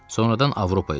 Sonradan Avropaya düşdü.